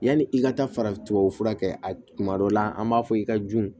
Yanni i ka taa farafinbara kɛ a tuma dɔ la an b'a fɔ i ka dun